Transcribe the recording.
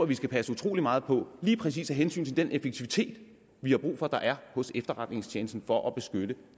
vi passe utrolig meget på af hensyn til den effektivitet vi har brug for der er hos efterretningstjenesten for at beskytte